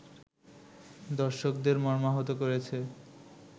দর্শকদের মর্মাহত করেছে